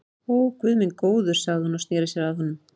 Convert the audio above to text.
Ó, guð minn góður sagði hún og sneri sér að honum.